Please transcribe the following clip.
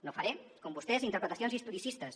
no faré com vostès interpretacions historicistes